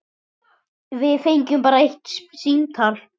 Við fengum bara eitt símtal.